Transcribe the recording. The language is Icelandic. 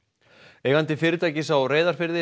eigandi fyrirtækis á Reyðarfirði